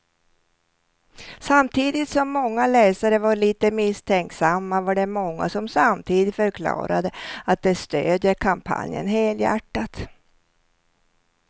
Samtidigt som många läsare var lite misstänksamma var det många som samtidigt förklarade att de stödjer kampanjen helhjärtat.